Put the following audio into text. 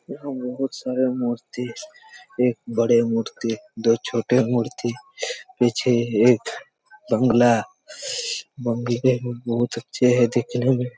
यहाँ बहुत सारे मूर्ति हैं एक बड़ा मूर्ति दो छोटे मूर्ति पीछे एक बंगला बंगले भी बहुत अच्छे है देखने में--